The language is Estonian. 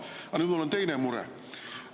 Aga nüüd mul on teine mure.